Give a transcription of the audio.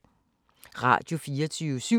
Radio24syv